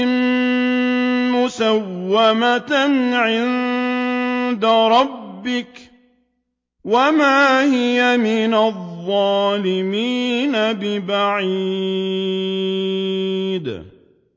مُّسَوَّمَةً عِندَ رَبِّكَ ۖ وَمَا هِيَ مِنَ الظَّالِمِينَ بِبَعِيدٍ